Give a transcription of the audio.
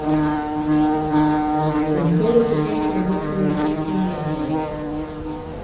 En Þóroddur gengur á móti mér í fullkomnu jafnvægi.